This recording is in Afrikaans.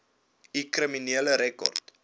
u kriminele rekord